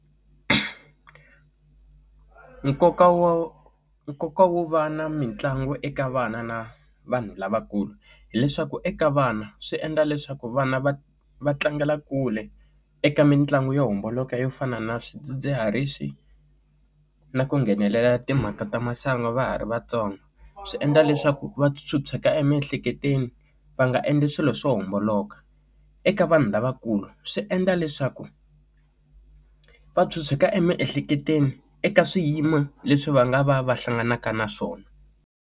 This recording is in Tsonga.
Nkoka wa nkoka wo va na mitlangu eka vana na vanhu lavakulu hileswaku eka vana swi endla leswaku vana va va tlangela kule eka mitlangu yo homboloka yo fana na swidzidziharisi na ku nghenelela timhaka ta masangu va ha ri vatsongo swi endla leswaku va chucheka emiehleketweni va nga endli swilo swo homboloka eka vanhu lavakulu swi endla leswaku va chucheka emiehleketweni eka swiyimo leswi va nga va va hlanganaka na swona.